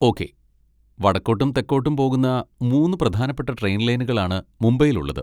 Okay, വടക്കോട്ടും തെക്കോട്ടും പോകുന്ന മൂന്ന് പ്രധാനപ്പെട്ട ട്രെയിൻ ലൈനുകളാണ് മുംബൈയിലുള്ളത്.